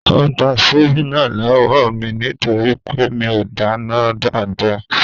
Ó gba síbí náà lọ́wọ́ mí nítorí pé mi o dáná dáadáa.